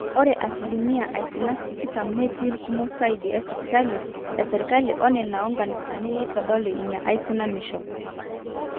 ore asilimia aisinak tikitam netii irkumok saidi isipitalini esirkali oo nena oonkanisani neitodolu ina aisinanishu